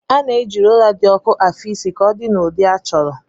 A na-eji rólá dị ọku afị isi ka ọdịrị n'ụdị achọrọ